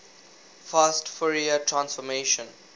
fast fourier transform